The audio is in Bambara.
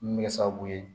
Min bɛ kɛ sababu ye